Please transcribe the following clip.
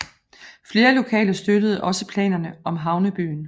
Flere lokale støttede også planerne om havnebyen